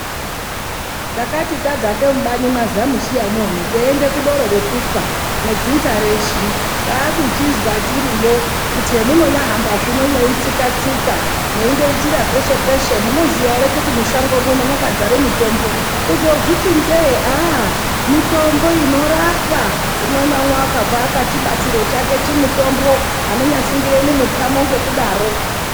Takati tadzaka mubani mwaZamuchiyamwo teiende kudoro kudoro rekufa nedzinza reshe kwakuchizwa tiriyo kuti hemunonyahamba zvino mweitsika tsika mweindoitira peshe peshe munozviziya ere kuti mushango muno mwakazara mitombo kuzoozviti ndee ahh mitombo inorapa umwe naumwe wakabva akachibatira chake chimutombo anonyasungira mumukhamo ngekudaro.